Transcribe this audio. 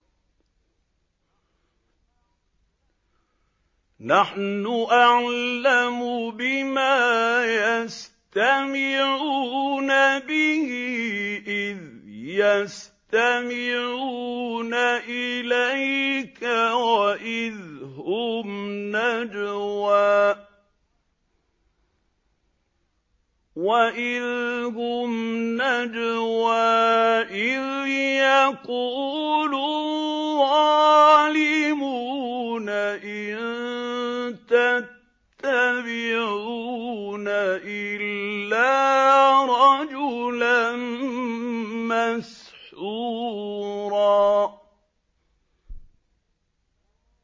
نَّحْنُ أَعْلَمُ بِمَا يَسْتَمِعُونَ بِهِ إِذْ يَسْتَمِعُونَ إِلَيْكَ وَإِذْ هُمْ نَجْوَىٰ إِذْ يَقُولُ الظَّالِمُونَ إِن تَتَّبِعُونَ إِلَّا رَجُلًا مَّسْحُورًا